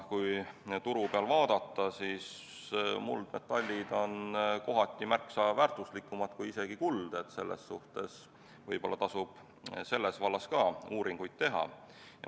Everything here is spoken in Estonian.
Kui turgu vaadata, siis muldmetallid on kohati märksa väärtuslikumad kui isegi kuld, nii et võib-olla tasub ka selles vallas uuringuid teha.